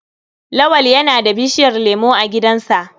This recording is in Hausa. Lawal yana da bishiyar lemo a gidansa.